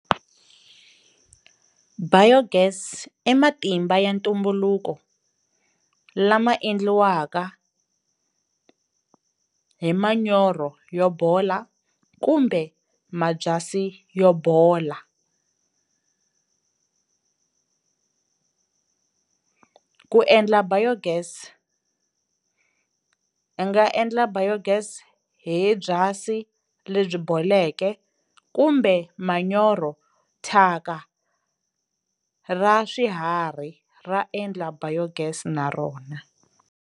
Biogas i matimba ya ntumbuluko lama endliwaka hi manyoro yo bola kumbe mabyasi yo bola. Ku endla Biogas, i nga endla Biogas hi byasi lebyi boleke kumbe manyoro, thyaka ra swiharhi ra endla Biogas na rona.